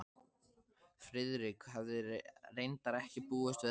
Friðrik hafði reyndar ekki búist við öðru.